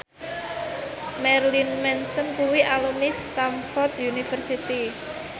Marilyn Manson kuwi alumni Stamford University